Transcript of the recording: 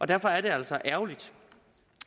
derfor er det altså ærgerligt